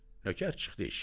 Nökər çıxdı eşiyə.